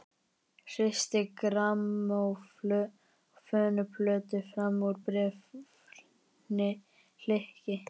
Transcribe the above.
Hristi grammófónplötu fram úr bréfhylki.